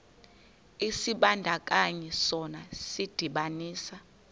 isibandakanyi sona sidibanisa